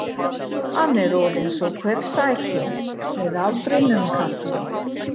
Hann er orðinn svo kvefsækinn með aldrinum karlinn.